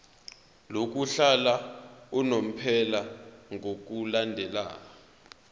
lokuhlala unomphela ngokulandela